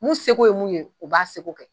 Mun seko ye mun ye o k'a seko kɛ